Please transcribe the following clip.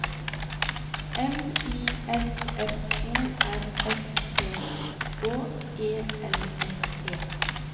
M I S F O R S T Å E L S E